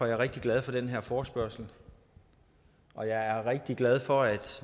jeg rigtig glad for den her forespørgsel og jeg er rigtig glad for at